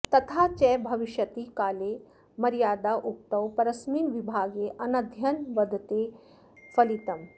तथा च भविष्यति काले मर्यादोक्तौ परस्मिन् विभागे अनद्यनवद्वेति फलितम्